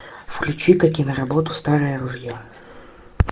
включи ка киноработу старое ружье